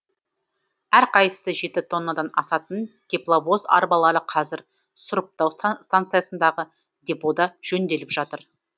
әрқайсысы жеті тоннадан асатын тепловоз арбалары қазір сұрыптау станциясындағы депода жөнделіп жатыр